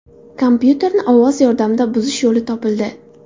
Kompyuterni ovoz yordamida buzish yo‘li topildi.